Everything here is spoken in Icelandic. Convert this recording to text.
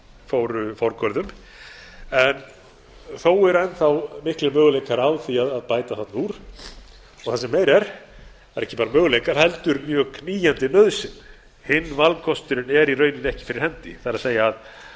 fóru forgörðum en þó eru enn þá miklir möguleikar á því að bæta þarna úr og það sem meira er það eru ekki bara möguleikar heldur mjög knýjandi nauðsyn hinn valkosturinn er í rauninni ekki fyrir hendi það